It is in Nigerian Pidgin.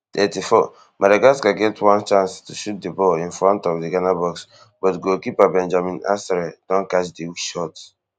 thirty-fourmadagascar get one chance to shoot di ball in front of di ghana box but goalkeeper benjamin asare don catch di weak shot